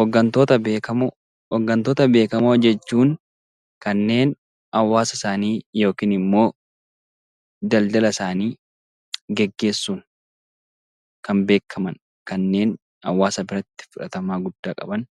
Hooggantoota beekamoo jechuun kanneen hawaasa isaanii yookaan daldala isaanii gaggeessuun kan beekaman kanneen hawaasa biratti fudhatama guddaa qaban